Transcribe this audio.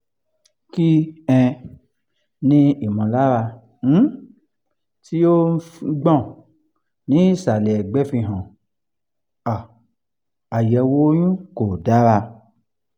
kí um ni ìmọ̀lára um tí ó ń gbọ̀n ní ìsàlẹ̀ ẹ̀gbẹ́ fi hàn um àyẹ̀wò oyún kò dára?